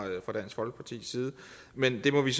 dansk folkepartis side men det må vi